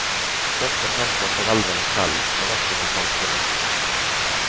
Først og fremst for foreldrene selv, men også for samfunnet.